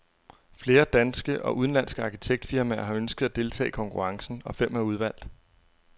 Flere danske og udenlandske arkitektfirmaer har ønsket at deltage i konkurrencen, og fem er udvalgt.